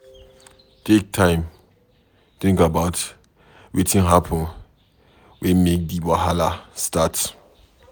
Take time think about wetin happen wey make di wahala start